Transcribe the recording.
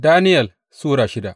Daniyel Sura shida